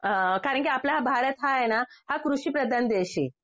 अ कारण की आपला भारत हा आहे ना हा कृषिप्रदान देश आहे.